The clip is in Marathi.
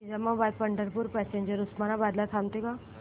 निजामाबाद पंढरपूर पॅसेंजर उस्मानाबाद ला थांबते का